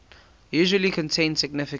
usually contain significant